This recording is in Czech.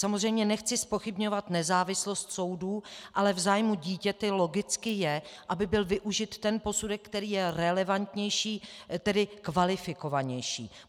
Samozřejmě nechci zpochybňovat nezávislost soudů, ale v zájmu dítěte logicky je, aby byl využit ten posudek, který je relevantnější, tedy kvalifikovanější.